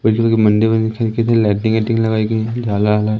मंदिर लाइटिंग एटिंग लगाई गई है झाला वाला--